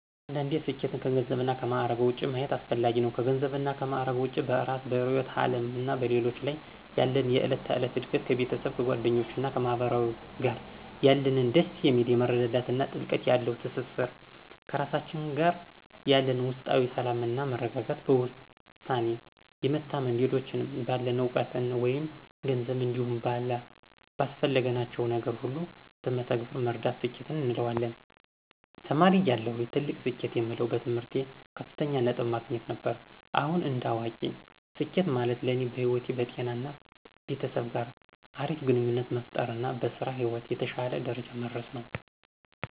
አንዳንዴ ስኬትን ከገንዘብ እና ከማዕረግ ውጭ ማየት አስፈጋጊ ነው። ከገንዘብ እና ማዕረግ ውጭ በእራስ፤ በርዕዮተ ዓለም እና በሌሎች ላይ ያለን የዕለት ተዕለት እድገት፣ ከቤተሰብ፤ ከጓደኞች እና ከማህበረሰብ ጋር ያለን ደስ የሚል የመረዳዳት እና ጥልቀት ያለው ትስስር፣ ከራሳችን ጋር ያለን ውስጣዊ ሰላም እና መረጋጋት፣ በውሳኔ የመታመን፣ ሌሎችን ባለን እውቀት መይም ገንዘብ እንዲሁም ባስፈለግናቸው ነገር ሁሉ በተግባር መርዳት ስኬት እንለዋለን። ተማሪ እያለሁ ትልቅ ስኬት የምለው በትምህርቴ ከፍተኛ ነጥብን ማግኘት ነበር። አሁን እንደ አዋቂ ስኬት ማለት ለኔ በህይወት፣ በጤና እና ቤተሰብ ጋር አሪፍ ግንኙነት መፍጠር እና በስራ ህይወት የተሸለ ደረጃ መድረስ ነው።